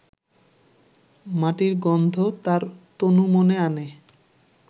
মাটির গন্ধ তাঁর তনুমনে আনে